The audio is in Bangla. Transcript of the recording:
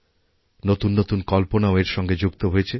নতুন নতুন কল্পনাও এর সঙ্গে যুক্ত হয়েছে